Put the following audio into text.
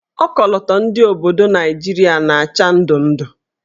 Okoloto ndị obodo Naijiria na-acha ndụndụ.